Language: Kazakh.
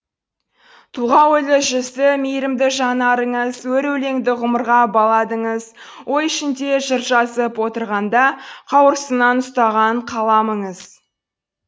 тұлға ойлы жүзді мейрімді жанарыңыз өр өлеңді ғұмырға баладыңыз ой ішінде жыр жазып отырғанда қауырсыннан ұстаған қаламыңыз